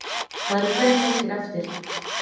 Það eru fleiri leikir eftir